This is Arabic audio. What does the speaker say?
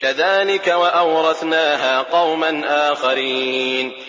كَذَٰلِكَ ۖ وَأَوْرَثْنَاهَا قَوْمًا آخَرِينَ